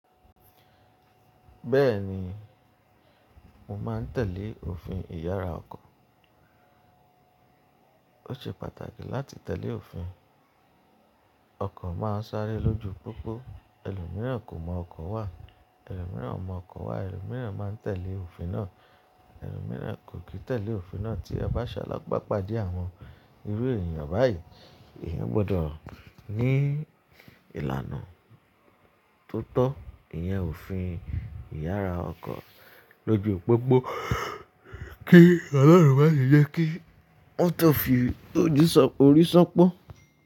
Bẹ́ẹ̀ni, mo máa ń tẹ̀lé òfin ìyára ọkọ̀. Ó ṣe pàtàkì láti tẹ̀lé òfin. Ọkọ̀ máa ń sáré lójú pópó, ẹlòmíràn kò mọ ọkọ̀ wà, ẹlòmíràn mọ ọkọ̀ wà, ẹlòmíràn máa ń tẹ̀lé òfin náà, ẹlòmíràn kò kì í tẹ̀lé òfin náà tí a bá ṣálágbàpá dẹ̀ àwọn irú ènìyàn báyìí. Eyan gbọdọ̀ ní ìlànà tó tọ́, ìyẹn òfin ìyára ọkọ̀ lójú pópó kí Ọlọ́run má ṣe jẹ́ kí mọ̀tọ̀ fi orí san pọ́